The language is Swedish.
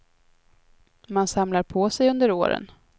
Man samlar på sig under åren.